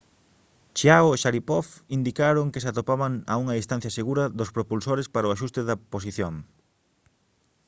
chiao e sharipov indicaron que se atopaban a unha distancia segura dos propulsores para o axuste da posición